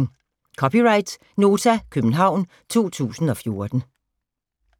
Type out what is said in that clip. (c) Nota, København 2014